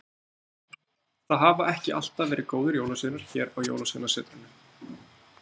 Það hafa ekki alltaf verið góðir jólasveinar hér á Jólasveinasetrinu.